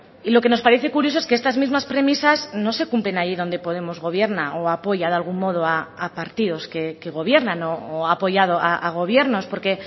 y lo que nos parece curioso es que estas mismas premisas no se cumplen ahí donde podemos gobierna o apoya de algún modo a partidos que gobiernan o ha apoyado a gobiernos porque